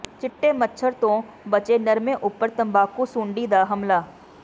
ਚਿੱਟੇ ਮੱਛਰ ਤੋਂ ਬਚੇ ਨਰਮੇ ਉਪਰ ਤੰਬਾਕੂ ਸੁੰਡੀ ਦਾ ਹਮਲਾ